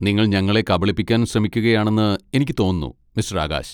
നിങ്ങൾ ഞങ്ങളെ കബളിപ്പിക്കാൻ ശ്രമിക്കുകയാണെന്ന് എനിക്ക് തോന്നുന്നു മിസ്റ്റർ ആകാശ്.